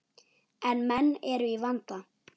En menn eru í vanda.